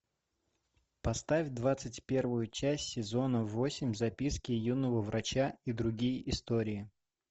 поставь двадцать первую часть сезона восемь записки юного врача и другие истории